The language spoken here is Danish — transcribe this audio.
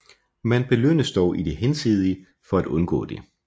Man belønnes dog i det hinsidige for at undgå det